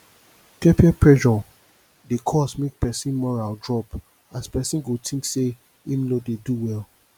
peer peer pressure dey cause mek pesin moral drop as pesin go tink say im no dey do well